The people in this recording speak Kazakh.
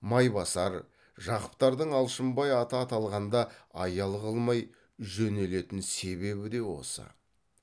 майбасар жақыптардың алшынбай аты аталғанда аял қылмай жөнелетін себебі де осы